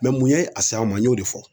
mun ye a s'an ma, n ɲ'o de fɔ